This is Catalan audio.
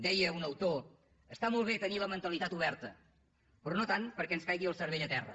deia un autor està molt bé tenir la mentalitat oberta però no tant com perquè ens caigui el cervell a terra